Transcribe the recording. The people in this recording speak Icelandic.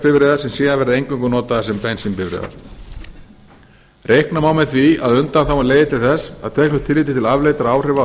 metangasbifreiðar sem síðan verði eingöngu notaðar sem bensínbifreiðar reikna má með því að undanþágan leiði til þess að teknu tilliti til afleiddra áhrifa á